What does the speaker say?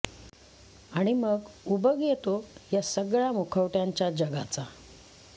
आणि मग उबग येतो या सगळ्या मुखवट्यांच्या जगाचा